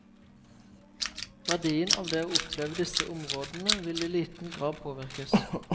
Verdien av det å oppleve disse områdene vil i liten grad påvirkes.